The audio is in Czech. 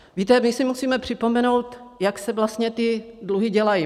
Víte, my si musíme připomenout, jak se vlastně ty dluhy dělají.